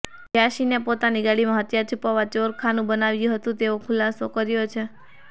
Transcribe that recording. યાસીને પોતાની ગાડીમાં હથિયાર છુપાવવા ચોર ખાનું બનાવ્યું હતું તેવો ખુલાસો કર્યો છે